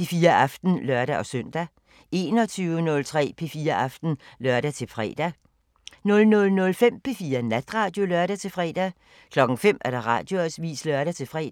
P4 Aften (lør-søn) 21:03: P4 Aften (lør-fre) 00:05: P4 Natradio (lør-fre) 05:00: Radioavisen (lør-fre)